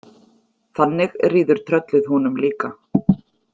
Þannig ríður tröllið honum líka.